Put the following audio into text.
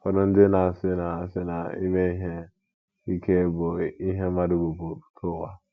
Ụfọdụ ndị na - asị na asị na ime ihe ike bụ ihe mmadụ bu pụta ụwa.